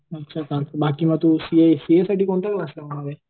अच्छा चालतंय बाकी मग तू सीए सीए साठी कोणता क्लास लावणार आहे?